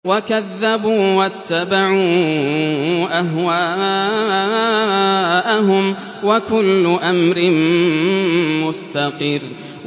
وَكَذَّبُوا وَاتَّبَعُوا أَهْوَاءَهُمْ ۚ وَكُلُّ أَمْرٍ مُّسْتَقِرٌّ